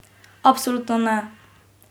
Absolutno ne!